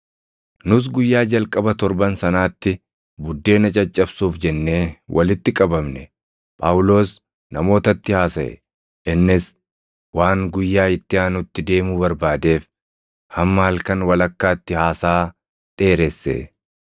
Nus guyyaa jalqaba torban sanaatti buddeena caccabsuuf jennee walitti qabamne; Phaawulos namootatti haasaʼe. Innis waan guyyaa itti aanutti deemuu barbaadeef hamma halkan walakkaatti haasaa dheeresse.